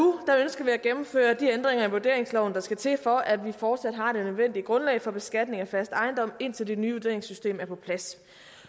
ønsker vi at gennemføre de ændringer i vurderingsloven der skal til for at vi fortsat har det nødvendige grundlag for beskatning af fast ejendom indtil det nye vurderingssystem er på plads